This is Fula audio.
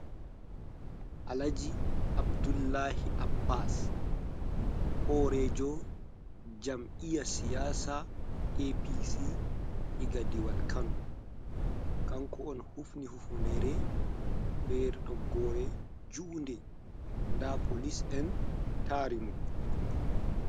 Alhaji Abdullahi Abbas horejo jam'iya siyasa nga APC ega diwal kano. Kanko on hufni hufnere be toggore juu'nde. Nda police en tari mo.